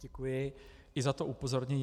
Děkuji, i za to upozornění.